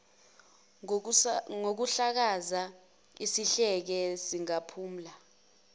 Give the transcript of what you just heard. ngokuhlakaza isidleke sikaphumla